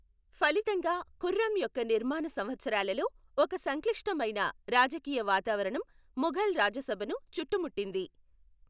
ఫలితంగా, ఖుర్రం యొక్క నిర్మాణ సంవత్సరాలలో ఒక సంక్లిష్టమైన రాజకీయ వాతావరణం ముఘల్ రాజసభను చుట్టుముట్టింది.